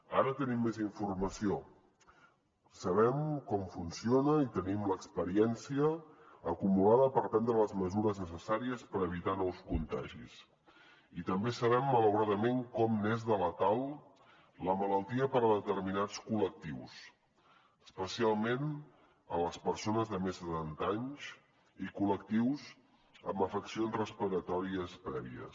ara tenim més informació sabem com funciona i tenim l’experiència acumulada per prendre les mesures necessàries per evitar nous contagis i també sabem malauradament com n’és de letal la malaltia per a determinats col·lectius especialment en les persones de més de setanta anys i col·lectius amb afeccions respiratòries prèvies